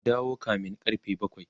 ku dawo kamin karfe bakwai!